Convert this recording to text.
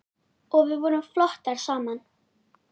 Og við vorum flottar saman.